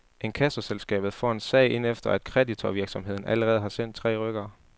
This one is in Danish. Inkassoselskabet får en sag ind efter at kreditorvirksomheden allerede har sendt tre rykkere.